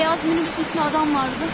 Bu bəyaz minik üstündə adam vardı.